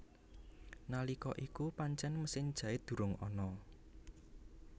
Nalika iku pancen mesin jait durung ana